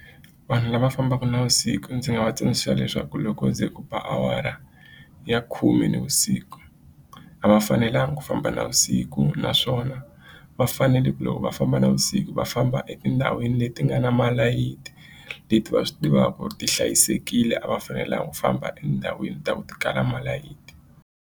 Vanhu lava fambaka navusiku ndzi nga va tsundzuxa leswaku loko ku ze u ba awara ya khume navusiku a va fanelanga ku famba navusiku naswona va va fanele ku loko va famba navusiku va famba etindhawini leti nga na malayithi leti va swi tivaka ku ri ti hlayisekile a va fanelanga ku famba endhawini leti ta ku ti kala malayiti.